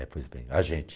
É, pois bem, a gente.